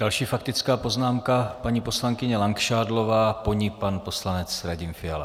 Další faktická poznámka, paní poslankyně Langšádlová, po ní pan poslanec Radim Fiala.